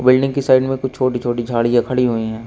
Building की side में कुछ छोटी छोटी झाड़ियाँ खड़ी हुई है।